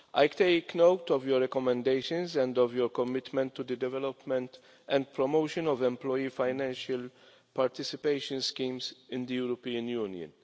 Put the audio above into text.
I take note of your recommendations and of your commitment to the development and promotion of employee financial participation schemes in the European Union.